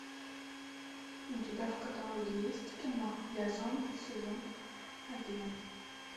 у тебя в каталоге есть кино я зомби сезон один